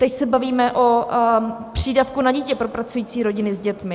Teď se bavíme o přídavku na dítě pro pracující rodiny s dětmi.